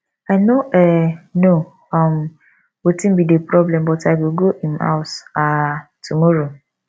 i no um know um wetin be the problem but i go go im house um tomorrow